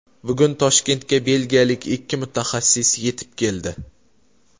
Bugun Toshkentga belgiyalik ikki mutaxassis yetib keldi.